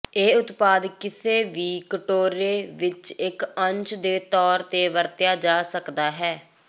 ਇਹ ਉਤਪਾਦ ਕਿਸੇ ਵੀ ਕਟੋਰੇ ਵਿੱਚ ਇੱਕ ਅੰਸ਼ ਦੇ ਤੌਰ ਤੇ ਵਰਤਿਆ ਜਾ ਸਕਦਾ ਹੈ